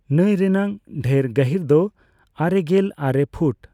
ᱱᱟᱹᱭ ᱨᱮᱱᱟᱜ ᱰᱷᱮᱨ ᱜᱟᱹᱦᱤᱨ ᱫᱚ ᱟᱨᱮᱜᱮᱞ ᱟᱨᱮ ᱯᱷᱩᱴ ᱾